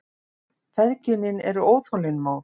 Feðginin eru óþolinmóð.